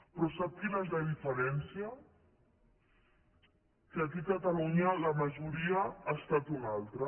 però sap quina és la diferència que aquí a catalunya la majoria ha estat una altra